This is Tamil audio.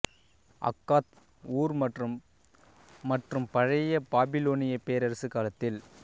அக்காத் ஊர் மற்றும் மற்றும் பழைய பாபிலோனியப் பேரரசு காலத்தில்